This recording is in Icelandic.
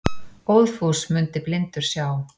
Óðfús mundi blindur sjá.